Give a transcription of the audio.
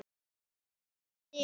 Þangað stefndi ég.